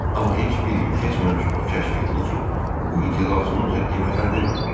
Amma heç bir gün keçməmiş o kəşf etdi ki, bu iti lazıminca qiymətləndirməyib.